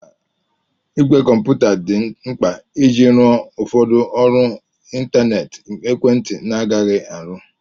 Ìgwè kọmputa dị mkpa iji rụọ ụfọdụ ọrụ ịntanetị ekwentị na-agaghị arụ.